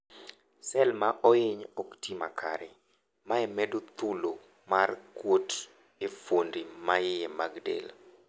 Cell maohiny okti makare, mae medo thulo mar kuot e fuondi maiye mag del..